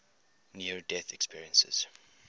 near death experiences